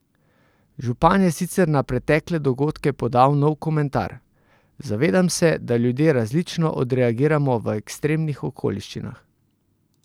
Župan je sicer na pretekle dogodke podal nov komentar: 'Zavedam se, da ljudje različno odreagiramo v ekstremnih okoliščinah.